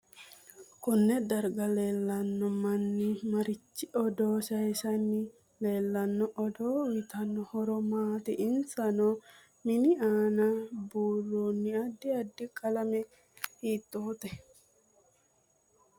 Konne darga leelanno manni marichi odoo sayiisanni leelanno odoo uyiitanno horo maati insa noo mini aana buurooni addi addi qalame hiitoote